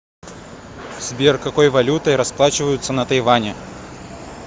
сбер какой валютой расплачиваются на тайване